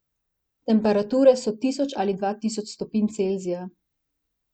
Temperature so tisoč ali dva tisoč stopinj Celzija.